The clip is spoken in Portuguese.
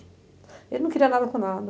Ele não queria nada com nada.